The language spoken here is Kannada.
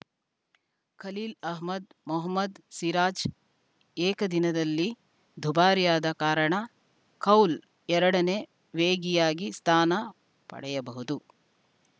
ಖಲೀಲ್‌ ಅಹ್ಮದ್‌ ಮೊಹಮದ್‌ ಸಿರಾಜ್‌ ಏಕದಿನದಲ್ಲಿ ದುಬಾರಿಯಾದ ಕಾರಣ ಕೌಲ್‌ ಎರಡ ನೇ ವೇಗಿಯಾಗಿ ಸ್ಥಾನ ಪಡೆಯಬಹುದು